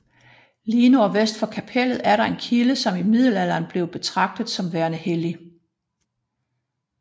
Lige nordvest for kapellet er der en kilde som i middelalderen blev betragtet som værende hellig